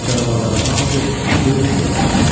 Canavarların hamısı döyüş yerinə qayıtdı.